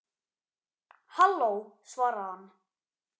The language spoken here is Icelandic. Halló, svaraði hann.